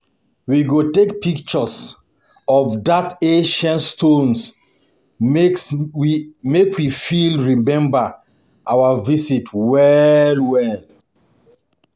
We go take pictures for dat ancient stones make we fit remember our visit well well.